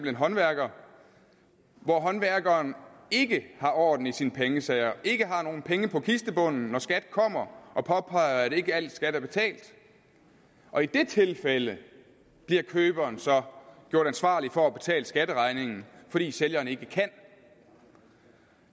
en håndværker hvor håndværkeren ikke har orden i sine pengesager og ikke har nogen penge på kistebunden når skat kommer og påpeger at ikke alt skat er betalt og i det tilfælde bliver køberen så gjort ansvarlig for at betale skatteregningen fordi sælgeren ikke kan